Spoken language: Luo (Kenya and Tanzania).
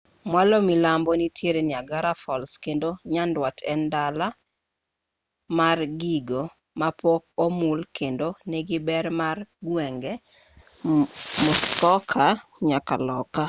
mwalo milambo nitie niagara falls kendo nyandwat en dala mar gigo mapok omul kendo nigi ber mar gwenge muskoka nyaka loka